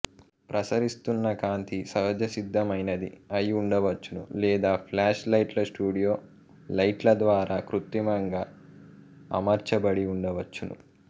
ప్రసరిస్తున్న కాంతి సహజ సిద్ధమైనది అయి ఉండవచ్చును లేదా ఫ్ల్యాష్ లైట్లస్టూడియో లైట్ల ద్వారా కృత్రిమంగా అమర్చబడి ఉండవచ్చును